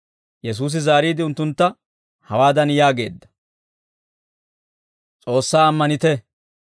Yesuusi zaariide, unttuntta hawaadan yaageedda; «S'oossaa ammanite.